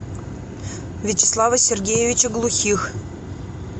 вячеслава сергеевича глухих